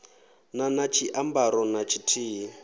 na na tshiambaro na tshithihi